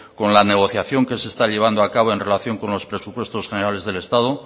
con la negociación que se está llevando a cabo en relación con los presupuestos generales del estado